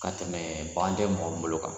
Ka tɛmɛ bagan tɛ mɔgɔ min bolo kan.